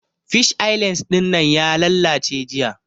Fish eye lens dinnan ya lallace jiya